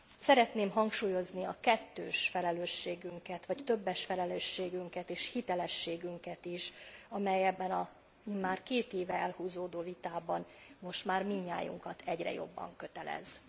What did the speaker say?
Szeretném hangsúlyozni a kettős felelősségünket vagy többes felelősségünket és hitelességünket is, amely ebben az immár két éve elhúzódó vitában most már mindnyájunkat egyre jobban kötelez.